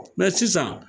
Mɛ sisan